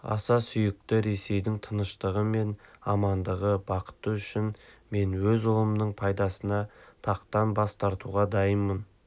аса сүйікті ресейдің тыныштығы мен амандығы бақыты үшін мен өз ұлымның пайдасына тақтан бас тартуға дайынмын